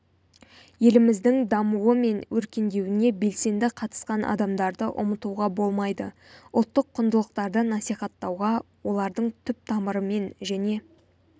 еліміздің дамуы мен өркендеуіне белсенді қатысқан адамдарды ұмытуға болмайды ұлттық құндылықтарды насихаттауға олардың түп-тамырымен және